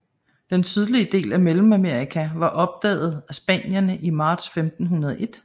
Den sydlige del af Mellemamerika var opdaget af Spanierne i Marts 1501